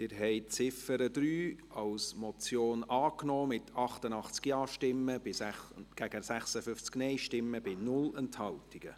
Sie haben die Ziffer 3 als Motion angenommen, mit 88 Ja- zu 56 Nein-Stimmen bei 0 Enthaltungen.